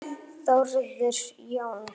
Þórður Jóns